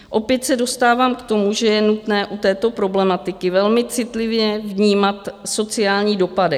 Opět se dostávám k tomu, že je nutné u této problematiky velmi citlivě vnímat sociální dopady.